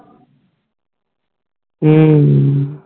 ਹੱਮ